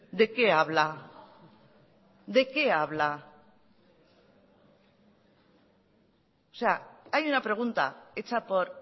de qué habla de qué habla o sea hay una pregunta hecha por